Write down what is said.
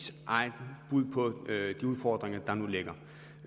så har herre peter